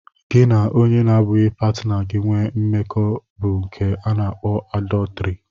Gị na onye n'abughị pátinà gi nwé mmekọ bu nke a na akpọ àdọtrị